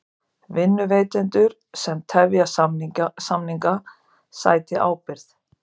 Vinnuveitendur sem tefja samninga sæti ábyrgð